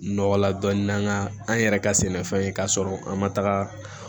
Nɔgɔ la dɔɔnin nga an yɛrɛ ka sɛnɛfɛn ye k'a sɔrɔ an ma taga